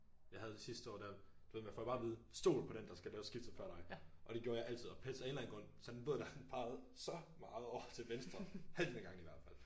Jeg havde det sidste år der du ved man får bare at vide stol på den der skal lave skiftet før dig! Og det gjorde jeg altid og af en eller anden grund så den der båd den pegede så meget over til venstre halvedelen af gangene i hvert fald